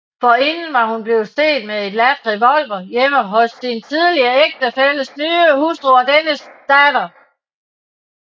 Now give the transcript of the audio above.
Forinden var hun blevet set med en ladt revolver hjemme hos sin tidligere ægtefælles nye hustru og dennes datter